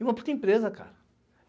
E uma puta empresa, cara.